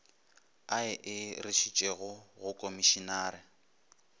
a e išitšego ga komišinare